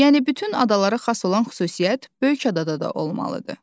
Yəni bütün adalara xas olan xüsusiyyət böyük adada da olmalıdır.